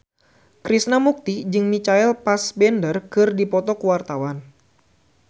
Krishna Mukti jeung Michael Fassbender keur dipoto ku wartawan